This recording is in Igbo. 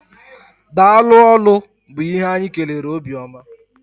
Daalụ ólú bu ihe anyị kelere Obiọma.